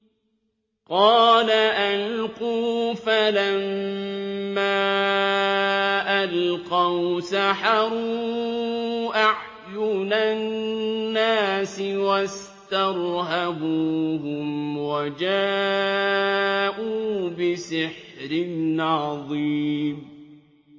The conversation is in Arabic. قَالَ أَلْقُوا ۖ فَلَمَّا أَلْقَوْا سَحَرُوا أَعْيُنَ النَّاسِ وَاسْتَرْهَبُوهُمْ وَجَاءُوا بِسِحْرٍ عَظِيمٍ